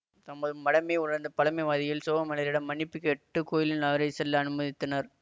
தமது மடமையை உணர்ந்த பழமைவாதிகள் சோகமெளரிடம் மன்னிப்பு கேட்டு கோயினுள் அவரை செல்ல அனுமதித்தனர்